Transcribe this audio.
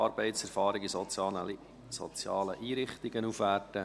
«Arbeitserfahrung in sozialen Einrichtungen aufwerten».